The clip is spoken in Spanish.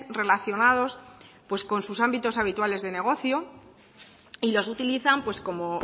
relacionados con sus ámbitos habituales de negocio y los utilizan como